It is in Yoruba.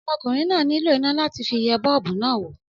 Ọmọkùnrin náà nílò iná láti fi ẹ bọ́ọ́bú náà wò.